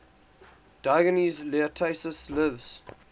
diogenes laertius's lives